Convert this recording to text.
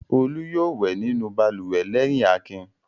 Olú yóò wẹ̀ nínú balùwẹ̀ lẹ́yìn Akin.